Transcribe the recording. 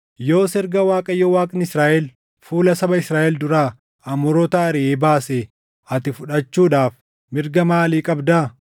“Yoos erga Waaqayyo Waaqni Israaʼel fuula saba Israaʼel duraa Amoorota ariʼee baasee ati fudhachuudhaaf mirga maalii qabdaa?